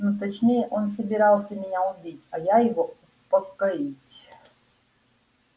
ну точнее он собирался меня убить а я его упокоить